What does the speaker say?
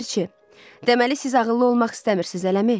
Ləpirçi: Deməli, siz ağıllı olmaq istəmirsiz, eləmi?